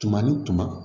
Tuma ni tuma